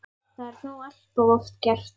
Það er þó allt of oft gert.